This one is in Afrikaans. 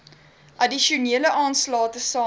addisionele aanslae tesame